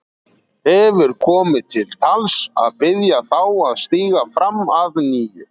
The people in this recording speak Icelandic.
Hefur komið til tals að biðja þá að stíga fram að nýju?